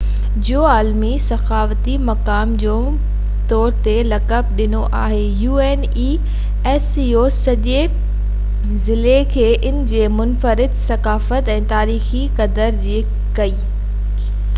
سڄي ضلعي کي ان جي منفرد ثقافت ۽ تاريخي قدر جي ڪري unesco جو عالمي ثقافتي مقام جي طور تي لقب ڏنو آهي